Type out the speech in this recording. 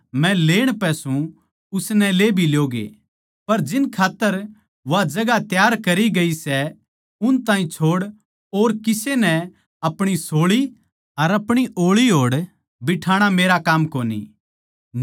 उननै यीशु तै कह्या हम कर सका सां यीशु नै उनतै कह्या जो दुख का कटोरा मै पीण पै सूं थम पी ल्योगे अर जो बपतिस्मा मै लेण पै सूं उसनै ले भी ल्योगे